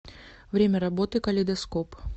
время работы калейдоскоп